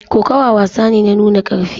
Kokawa wasa ne na nuna karfi